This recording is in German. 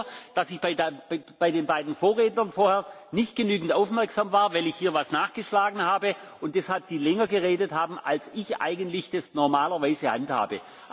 haben. Ich weiß selber, dass ich bei den beiden Vorrednern vorher nicht genügend aufmerksam war, weil ich hier etwas nachgeschlagen habe und die deshalb länger geredet haben, als ich das eigentlich normalerweise